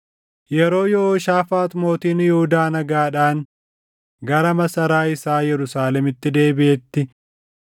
Yeroo Yehooshaafaax mootiin Yihuudaa nagaadhaan gara masaraa isaa Yerusaalemitti deebiʼetti,